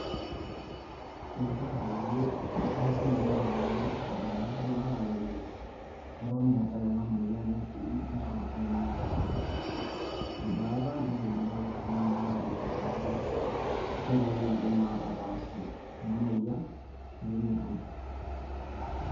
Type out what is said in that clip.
Enetipat peyie easi ena baye pee eitadamuni iltung`anak aajoki eton eetae ena moyian netii neton ake meeta em`baata. Nelikini iltung`anak aajoki peyie nkoitoi naidim atapaashie ena moyian pee metum.